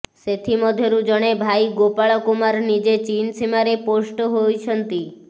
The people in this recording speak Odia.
ସେଥିମଧ୍ୟରୁ ଜଣେ ଭାଇ ଗୋପାଳ କୁମାର ନିଜେ ଚୀନ୍ ସୀମାରେ ପୋଷ୍ଟ ହୋଇଛନ୍ତି